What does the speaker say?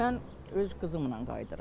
Mən öz qızımla qayıdıram.